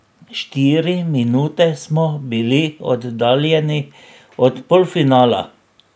Štiri minute smo bili oddaljeni od polfinala.